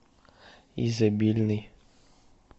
изобильный